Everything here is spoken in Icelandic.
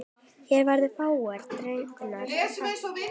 Hér verða fáar dregnar fram.